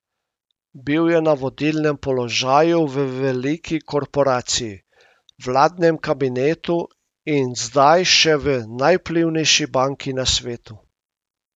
Bil je na vodilnem položaju v veliki korporaciji, vladnem kabinetu in zdaj še v najvplivnejši banki na svetu.